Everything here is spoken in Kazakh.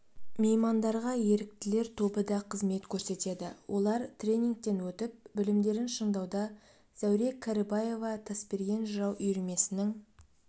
меймандарға еріктілер тобы да қызмет көрсетеді олар тренингтен өтіп білімдерін шыңдауда зәуре кәрібаева тасберген жырау үйірмесінің